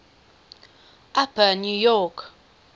upper new york